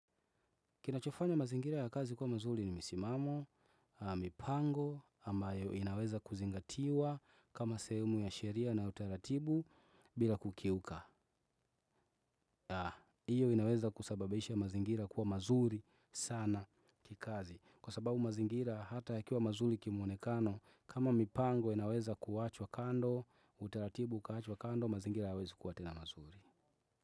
Kinachofanya mazingira ya kazi kwa mazuri ni msimamo, mipango, ama inaweza kuzingatiwa kama sehemu ya sheria na utaratibu bila kukiuka. Hiyo inaweza kusababisha mazingira kuwa mazuri sana kikazi. Kwa sababu mazingira hata yakiwa mazuri kimuonekano, kama mipango inaweza kuachwa kando, utaratibu ukaachwa kando, mazingira hayawezi kuwa tena mazuri.